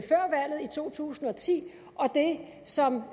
to tusind og ti og det som